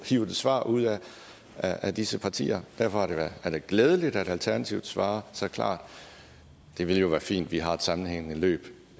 hive et svar ud af af disse partier derfor er det glædeligt at alternativet svarer så klart det ville jo være fint at vi har et sammenhængende forløb